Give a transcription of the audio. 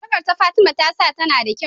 sarƙar da fatima ta sa tAna da kyau